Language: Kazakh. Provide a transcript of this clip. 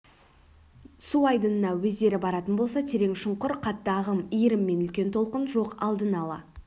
су айдынына өздері баратын болса терең шұңқыр қатты ағым иірім мен үлкен толқын жоқ алдын-ала